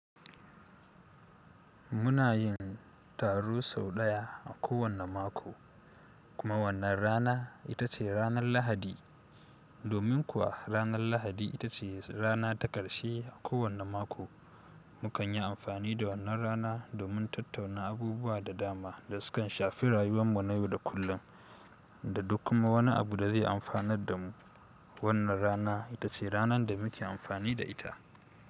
Muna yin taro sau ɗaya a kowane mako, kuma wannan rana ita ce ranar Lahadi. Domin kuwa ranar Lahadi ita ce rana ta ƙarshe a kowane mako, mu kan yi amfani da wannan rana domin tattauna abubuwa da dama da sukan shafi rayuwar mu na yau da kullum, da duk kuma wani abu da zai amfanar da mu. Wannan rana ita ce ranar da muke amfani da ita.